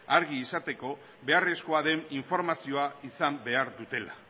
argi izateko beharrezkoa den informazioa izan behar dutela